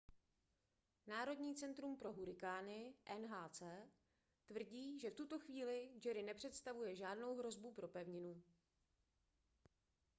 národní centrum pro hurikány nhc tvrdí že v tuto chvíli jerry nepředstavuje žádnou hrozbu pro pevninu